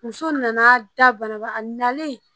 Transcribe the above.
Muso nana da banaba a nalen